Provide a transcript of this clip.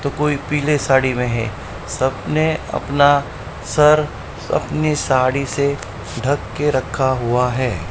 तो कोई पीले साड़ी में है सब ने अपना सर अपनी साड़ी से ढक के रखा हुआ है।